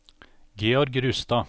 Georg Rustad